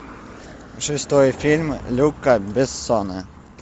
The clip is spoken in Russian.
шестой фильм люка бессона